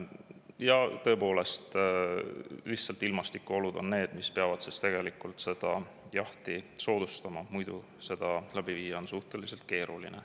Ja tõepoolest, lihtsalt ilmastikuolud on need, mis peavad jahti soodustama, muidu seda läbi viia on suhteliselt keeruline.